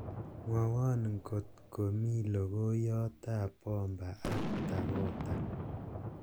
mwowon ng'ot komi logoiyot ab bomba ab dakota